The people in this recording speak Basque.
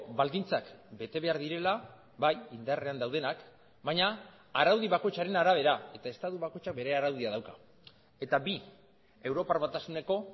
baldintzak bete behar direla bai indarrean daudenak baina araudi bakoitzaren arabera eta estatu bakoitzak bere araudia dauka eta bi europar batasuneko